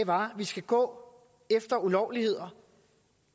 var at vi skal gå efter ulovligheder